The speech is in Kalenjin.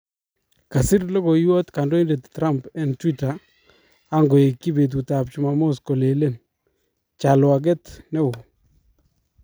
kasir logoiwat kandoindet Trump en Twita angoekyi petutap chumamos kolelen : chalwaget neo!